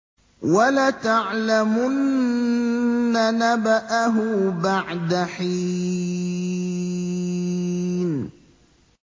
وَلَتَعْلَمُنَّ نَبَأَهُ بَعْدَ حِينٍ